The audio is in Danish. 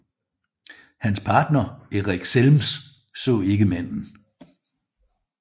Hans partner Eric Zelms så ikke manden